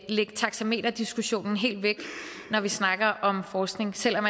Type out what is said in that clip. taxameterdiskussionen helt væk når vi snakker om forskning selv om